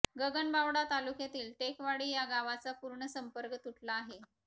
गगनबावडा तालुक्यातील टेकवाडी या गावाचा पूर्ण संपर्क तुटला आहे